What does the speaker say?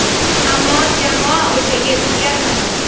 Ammo jamoa o‘zagi o‘zgarmadi.